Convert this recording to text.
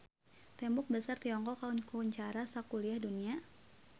Tembok Besar Tiongkok kakoncara sakuliah dunya